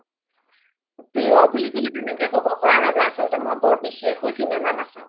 প্ৰিয় বুলি ক্'লে তেনেকে ক্'ব পাৰা নাজাই আচলতে মই বৰ বিষেসও চিনেমা নাচাও